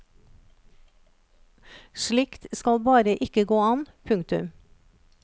Slikt skal bare ikke gå an. punktum